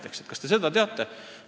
Ma küsin, kas te seda teate.